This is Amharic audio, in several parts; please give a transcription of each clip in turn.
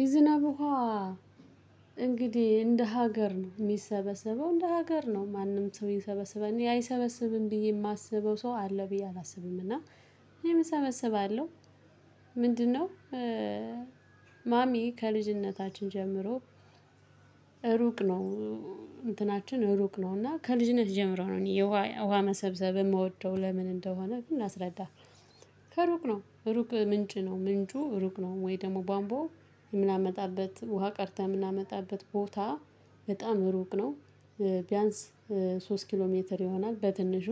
የዝናብ ውሃ። እንግዲህ እንደ ሀገር ነው ሚሰበሰበው እንደ ሀገር ነው ማንም ሰው ሚሰበስበው አይሰበስብም ብዬ ማስበው ሰው አለ ብዬ አላስብም። እና እኔም እሰበስባለሁ። ምንድነው? ማሚ ከልጅነታችን ጀምሮ። ሩቅ ነው። እንትናችን ሩቅ ነው እና ከልጅነት ጀምሮ ነው። እኔ ውሃ መሰብሰብ የምወደው ለምን እንደሆነ ግን ላስረዳህ። ከሩቅ ነው ሩቅ ምንጭ ነው። ምንጩ ሩቅ ነው። ወይ? ደግሞ ቧንቧው የምናመጣበት ውሃ ቀርተን የምናመጣበት ቦታ በጣም ሩቅ ነው። ቢያንስ ሶስት ኪሎ ሜትር ይሆናል። በትንሹ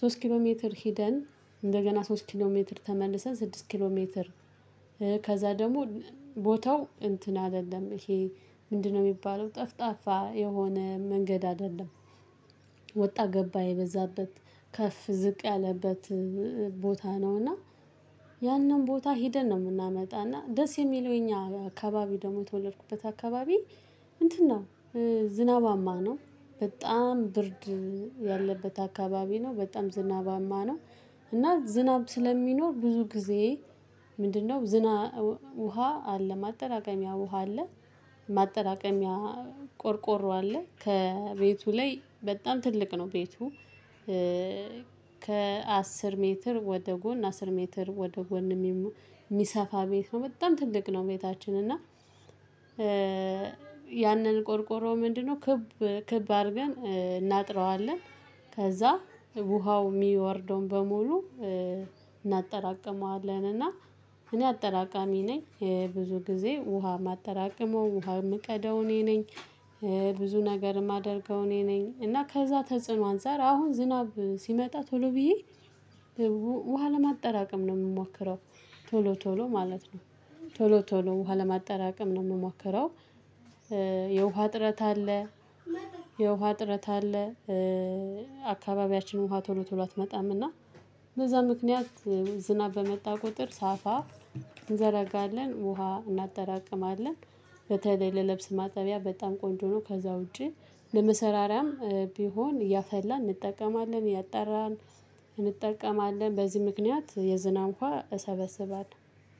ሶስት ኪሎ ሜትር ሄደን እንደገና ሶስት ኪሎ ሜትር ተመልሰን ስድስት ኪሎ ሜትር። ከዛ ደግሞ ቦታው እንትን አይደለም ይሄ ምንድነው የሚባለው ጠፍጣፋ የሆነ መንገድ አደለም። ወጣ ገባ የበዛበት ከፍ ዝቅ ያለበት ቦታ ነው። እና ያንን ቦታ ሄደን ነው የምናመጣና ደስ የሚለው እኛ አካባቢ ደግሞ የተወለድኩበት አካባቢ። እንትና ዝናባማ ነው። በጣም ብርድ ያለበት አካባቢ ነው። በጣም ዝናባማ ነው። እና ዝናብ ስለሚኖር ብዙ ጊዜ ምንድነው? ውሃ አለ ማጠራቀሚያ ውሃ አለ። ማጠራቀሚያ አለ ከቤቱ ላይ በጣም ትልቅ ነው። ቤቱ ከአስር ሜትር ወደ ጎን አስር ሜትር ወደ ጎን የሚሰፋ ቤት ነው። በጣም ትልቅ ነው። ቤታችን እና ያንን ቆርቆሮ ምንድነው ክብ ክብ አርገን እናጥረዋለን። ከዛ ውሃው የሚወርደውን በሙሉ እናጠራቅመዋለን። እና እኔ አጠራቃሚ ነኝ። ብዙ ጊዜ ውሃ ማጠራቅመው ውሃ የምቀዳው እኔ ነኝ። ብዙ ነገር ማደርገው እኔ ነኝ። እና ከዛ ተጽዕኖ አንፃር አሁን ዝናብ ሲመጣ ቶሎ ብዬ ውሃ ለማጠራቀም ነው የምሞክረው። ቶሎ ቶሎ ማለት ነው። ቶሎ ቶሎ ውሃ ለማጠራቀም ነው የምሞክረው። የውሃ ዕጥረት አለ። የውሃ ዕጥረት አለ። አካባቢያችንን ውሃ ቶሎ ቶሎ አትመጣም እና በዛ ምክንያት ዝናብ በመጣ ቁጥር ሳፋ እንዘረጋለን ውሃ እናጠራቅማለን። በተለይ ለልብስ ማጠቢያ በጣም ቆንጆ ነው። ከዛ ውጪ ለመሰራራያም ቢሆን እያፈላን እንጠቀማለን እያጣራን እንጠቀማለን በዚህ ምክንያት የዝናብ ውሃ እሰበስባለሁ።